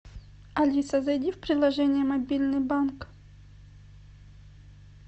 алиса зайди в приложение мобильный банк